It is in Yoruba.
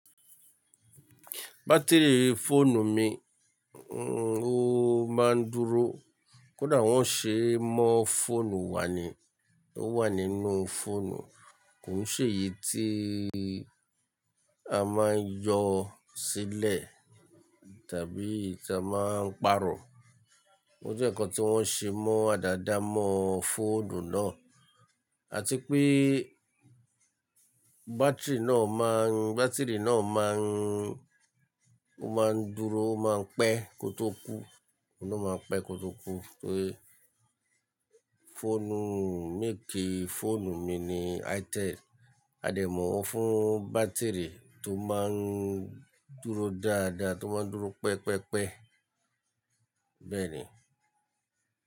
Batiri fóònù mi, ohun máa ń dúró. Kódà wọ́n ṣe mọ́ fóònù wa ni, ó wà nínú fóònù. Kò sì èyí tí a máa ń yọ sílẹ̀ tàbí tí a máa ń pàrọ̀. O jẹ́ ǹkan tí wọ́n ṣe mọ́ adádá mọ́ fóònù náà. A ti pé batiri náà má ń, batiri náà má ń, ó má ń dúró ó má ń pẹ́ kó tó kú, òun a máa ń pẹ́ kó tó kú. Só yẹ fóònù, mékì fóònù mi ni Itel. A dẹ̀ mọ̀ ọ́n fún batiri tó má ń dúró dáadáa, tó má ń dúró pẹpẹ́pẹ́. Bẹ́ẹ̀ ni.